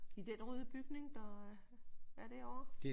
I den røde bygning der er derovre?